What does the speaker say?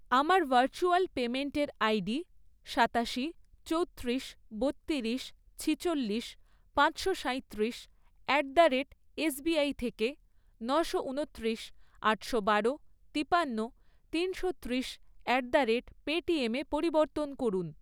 আমার ভার্চুয়াল পেইমেন্টের আইডি সাতাশি, চৌত্রিশ, বত্তিরিশ, ছিচল্লিশ, পাঁচশো সাঁইত্রিশ, অ্যাট দ্য রেট এসবিআই থেকে নশো ঊনত্রিশ, আটশো বারো, তিপান্ন, তিনশো ত্রিশ অ্যাট দ্য রেট পেটিএমে পরিবর্তন করুন।